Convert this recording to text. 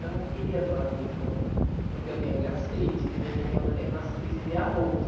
Eu não queria a tua vida, avó, porque eu tenho gastrite, de vez em quando eu tenho umas crises de arroto.